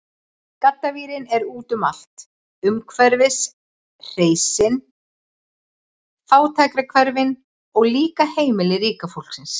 Gaddavírinn er úti um allt, umhverfis hreysin, fátækrahverfin, og líka heimili ríka fólksins.